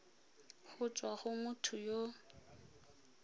go tswa go motho yo